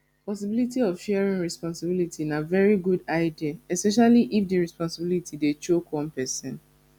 possibility of sharing responsibility na very good idea especially if di responsibility dey choke one person